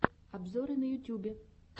обзоры на ютьюбе